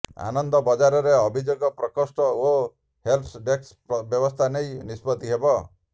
ଆନନ୍ଦ ବଜାରରେ ଅଭିଯୋଗ ପ୍ରକୋଷ୍ଠ ଓ ହେଲ୍ପ ଡେସ୍କ ବ୍ୟବସ୍ଥା ନେଇ ନିଷ୍ପତ୍ତି ହେବ